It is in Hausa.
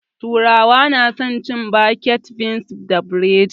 Turawa na san cin baked beans da buredi